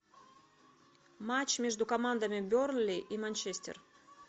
матч между командами бернли и манчестер